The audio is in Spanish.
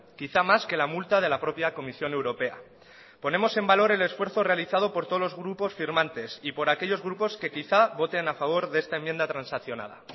quizá más que la multa de la propia comisión europea ponemos en valor el esfuerzo realizado por todos los grupos firmantes y por aquellos grupos que quizá voten a favor de esta enmienda transaccionada